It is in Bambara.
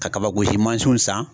Ka kabagosi mansinw san.